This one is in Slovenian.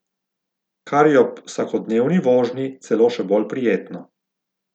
Kar je ob vsakodnevni vožnji celo še bolj prijetno.